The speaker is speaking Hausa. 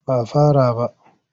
Ba a fara ba.